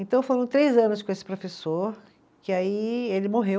Então foram três anos com esse professor, que aí ele morreu.